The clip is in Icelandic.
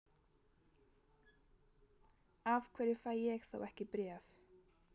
Af hverju fæ ég þá ekki bréf?